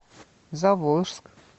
заволжск